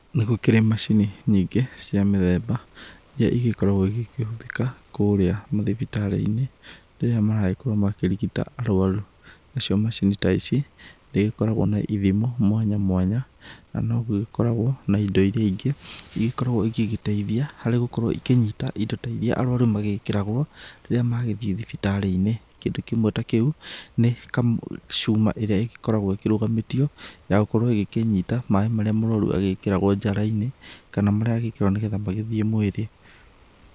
Nĩgũkĩrĩ macini nyingĩ cia mĩthemba, irĩa igĩkĩioragwo ikĩhũthĩka kũrĩa mathibitarĩ-inĩ rĩrĩa maragĩkorwo makĩrĩgita arũaru, nacio acini ta ici nĩ igĩkoragwo na ithimo mwanya mwanya na no gũgĩkoragwo na indo irĩa ingĩ igĩgĩkĩoragwo igĩgĩteithia harĩ gũkorwo ikĩnyita indo ta iria arũaru magĩkĩragwo rĩrĩa magĩthiĩ thibitarĩ-inĩ, kĩndũ kĩmwe ta kĩu nĩ ka cuma ĩrĩa ĩgĩkoragwo ĩkĩrũgamĩtio ya gũkorwo ĩgĩkĩnyita maĩ marĩa mũrũaru agĩkĩragwo njara-inĩ kana marĩa agĩkĩragwo nĩgetha magĩthiĩ mwĩrĩ.